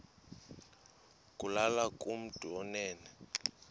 kulula kumntu onen